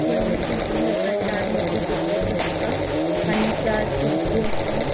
होडली बिल्डिंग असा चार मजली बिल्डिंग असा आणि चार खिड़की असा.